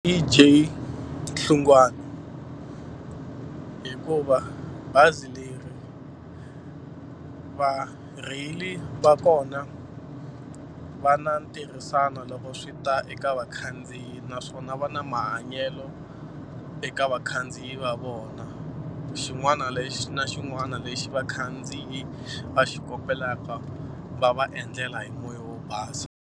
J Hlungwane hikuva bazi leri varheyili va kona va na ntirhisano loko swi ta eka vakhandziyi naswona va na mahanyelo eka vakhandziyi va vona xin'wana lexi na xin'wana lexi vakhandziyi va xi kombelaka va va endlela hi moya wo basa.